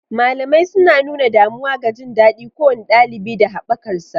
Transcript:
Malamai suna nuna damuwa ga jin daɗin kowane ɗalibi da haɓakarsa.